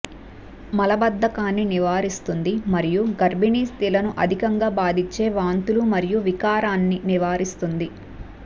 మలబద్దకాన్ని నివారిస్తుంది మరియు గర్భణీస్త్రీలను అధికంగా బాధించే వాంతులు మరియు వికారాన్ని నివారిస్తుంది